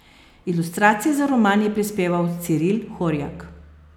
Ilustracije za roman je prispeval Ciril Horjak.